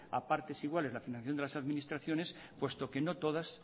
a partes iguales la financiación de las administraciones puesto que no todas